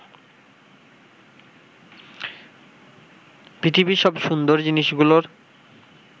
পৃথিবীর সব সুন্দর জিনিসগুলোর